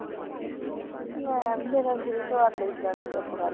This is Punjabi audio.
ਮੈਂ ਕਿਸੇ ਦਾ ਸਵਾਦ ਨੀ ਲੈਂਦੀ ਚੁੱਪ ਕਰਕੇ